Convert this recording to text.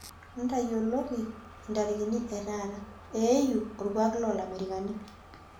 ntayioloki intarikini ee taata eiyu olkuuak loo ilamerikani